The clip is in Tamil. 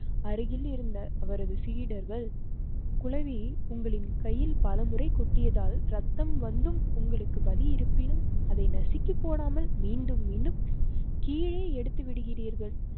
அருகில் இருந்த அவரது சீடர்கள் குழவி உங்களின் கையில் பலமுறை கொட்டியதால் ரத்தம் வந்தும் உங்களுக்கு வழி இருப்பினும் அதை நசுக்கி போடாமல் மீண்டும் மீண்டும் கீழே எடுத்து விடுகிறீர்கள்